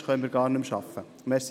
Anders können wir nicht arbeiten.